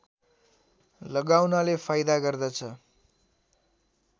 लगाउनाले फाइदा गर्दछ